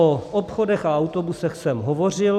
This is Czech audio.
O obchodech a autobusech jsem hovořil.